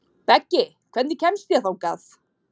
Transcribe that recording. Beggi, hvernig kemst ég þangað?